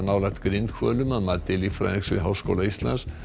nálægt grindhvölum að mati líffræðings við Háskóla Íslands